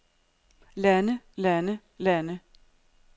lande lande lande